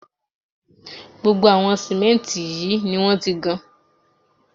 Gbogbo àwọn símẹ́ǹtì yìí ni wọ́n ti gan